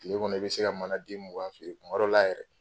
Tile kɔni i be se ka mana den mugan feere, kuma dɔw la yɛrɛ